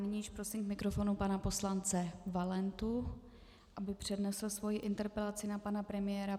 Nyní prosím k mikrofonu pana poslance Valentu, aby přednesl svoji interpelaci na pana premiéra.